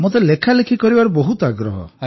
ମତେ ଲେଖାଲେଖି କରିବାରେ ବହୁତ ଆଗ୍ରହ